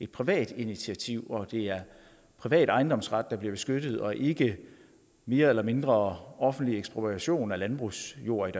privat initiativ og at det er privat ejendomsret der bliver beskyttet og ikke mere eller mindre offentlig ekspropriation af landbrugsjord